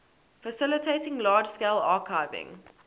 facilitating large scale archiving